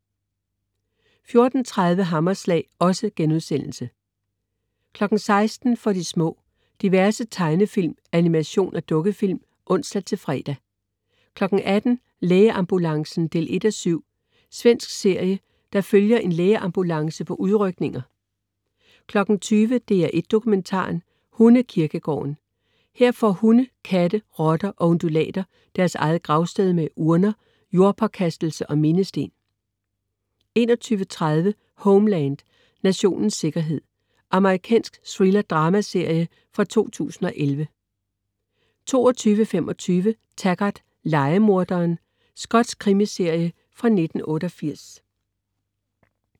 14.30 Hammerslag* 16.00 For de små. Diverse tegnefilm, animation og dukkefilm (ons-fre) 18.00 Lægeambulancen 1:7. Svensk serie, der følger en lægeambulance på udrykninger 20.00 DR1 Dokumentaren: Hundekirkegården. Her får hunde, katte, rotter og undulater deres eget gravsted, med urner, jordpåkastelse og mindesten 21.30 Homeland, Nationens sikkerhed. Amerikansk thrillerdramaserie fra 2011 22.25 Taggart: Lejemorderen. Skotsk krimiserie fra 1988